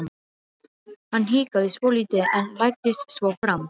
Hann hikaði svolítið en læddist svo fram.